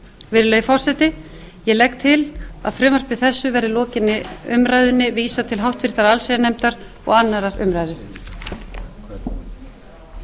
virðulegi forseti ég legg til að frumvarpi þessu verði að lokinni umræðunni vísað til háttvirtrar allsherjarnefndar og annarrar umræðu